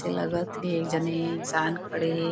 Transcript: अइसे लागत हे एक झने ईनसान खड़े हे।